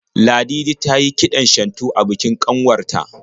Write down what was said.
Ladidi tayi kiɗan shantu a bikin kanwar ta.